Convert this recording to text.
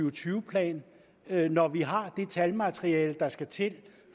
og tyve plan når vi har det talmateriale der skal til